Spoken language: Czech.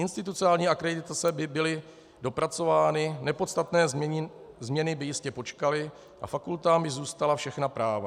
Institucionální akreditace by byly dopracovány, nepodstatné změny by jistě počkaly a fakultám by zůstala všechna práva.